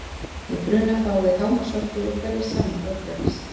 Við bruna fáum við hámarksorku úr hverri sameind orkuefnis.